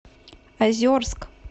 озерск